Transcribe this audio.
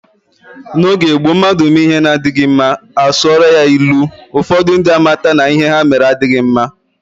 N'oge gboo mmadụ mee ihe na-adịghi mma, a sụọla ya ilu, ụfọdụ ndị a mata na ihe ha mere adịghị mma.